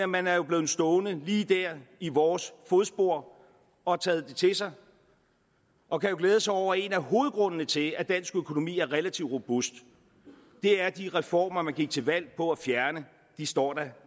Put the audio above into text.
man er jo blevet stående lige der i vores fodspor og har taget det til sig og kan glæde sig over at en af hovedgrundene til at dansk økonomi er relativt robust er at de reformer man gik til valg på at fjerne står der